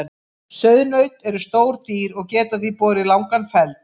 Sauðnaut eru stór dýr og geta því borið langan feld.